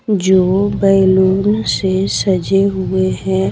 जो बैलून से सजे हुए हैं।